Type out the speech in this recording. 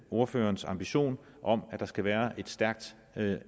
ordførerens ambition om at der skal være et stærkt